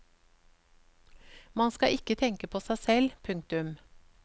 Man skal ikke tenke på seg selv. punktum